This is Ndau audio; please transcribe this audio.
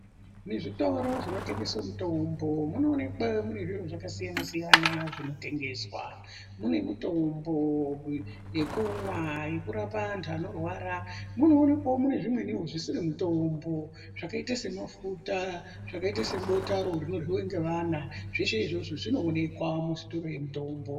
Muzvitoro zvino tengeswe mitombo munoonekwa mune zviro zvakasiyana-siyana zvinotengeswa. Mune mitombo yekumwa, yekurape antu anorwara. Munoonekwawo mune zvimweniwo zvisiri mitombo zvakaita semafuta, zvakaite sebotaro rinoryiwe ngevana, zveshe izvozvo zvinoonekwa muzvitoro zvemitombo.